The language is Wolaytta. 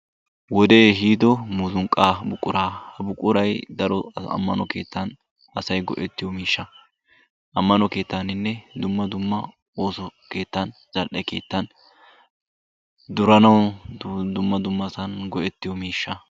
wodee ehiido muuzunqaa buquraa. ha buqquray amano keettan asay go'ettiyo miishshaa. ammano keetaaninne oosso keettan, zal'e keettan duranawu goettiyo miishsha.